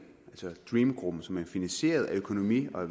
altså dream gruppen som er finansieret af økonomi og